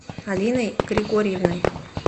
алиной григорьевной